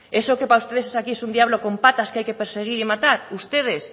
eso que para ustedes es aquí es un diablo con patas que hay que perseguir y matar ustedes